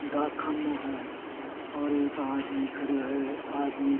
डाकखाने है और एक आदमी खड़ो है आदमी --